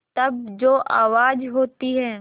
तब जो आवाज़ होती है